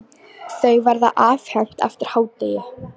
Þau verða afhent eftir hádegið.